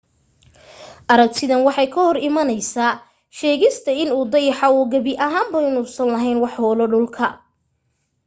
aragtidan waxay ka hor imanaysaasheegista in uu dayaxa uu gebi ahaan inuusan laheyn wax hoolo dhulka